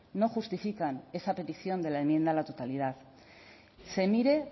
no justifican esa petición de la enmienda a la totalidad se mire